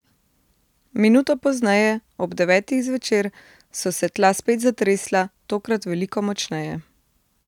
Minuto pozneje, ob devetih zvečer, so se tla spet zatresla, tokrat veliko močneje.